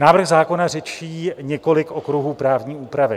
Návrh zákona řeší několik okruhů právní úpravy.